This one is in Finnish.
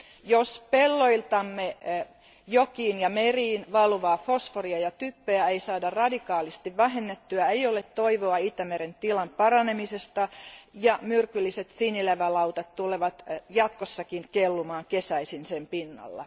Jos pelloiltamme jokiin ja meriin valuvaa fosforia ja typpeä ei saada radikaalisti vähennettyä, ei ole toivoa Itämeren tilan paranemisesta ja myrkylliset sinilevälautat tulevat jatkossakin kellumaan kesäisin sen pinnalla.